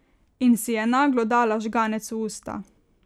In si je naglo dala žganec v usta.